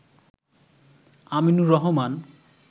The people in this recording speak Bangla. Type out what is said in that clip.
আমিনুর রহমান